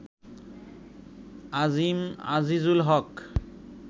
আজিম, Azizul হক